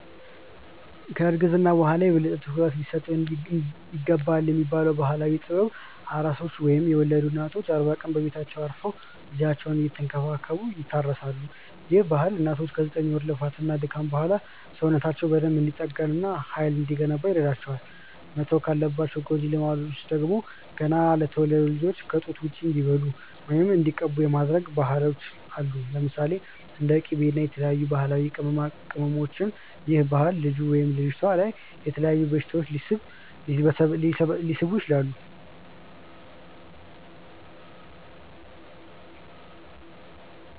ከ እርግዝና በኋላ የበለጠ ትኩረት ሊሰጠው ይገባልብ የሚባለው ባህላዊ ጥበብ፤ ኣራሶች ወይም የወለዱ እናቶች አርባ ቀን በቤታቸው አርፈው ልጃቸውን እየተንከባከቡ ይታረሳሉ፤ ይህ ባህል እናቶች ከ ዘጠኝ ወር ልፋት እና ድካም በኋላ ሰውነታቸው በደንብ እንዲጠገን እና ሃይል እንዲገነባ ይረዳቸዋል። መተው ካለባቸው ጎጂ ልማዶች ውስጥ ደግሞ፤ ገና ለተወለዱት ልጆች ከ ጡት ውጪ እንዲበሉ ወይም እንዲቀቡ የሚደረጉ ባህሎች አሉ። ለምሳሌ፦ እንደ ቂቤ እና የተለያዩ ባህላዊ ቅመማቅመሞች ይህ ባህል ልጁ/ልጅቷ ላይ የተለያዩ በሽታዎች ሊሰበስብ ይችላል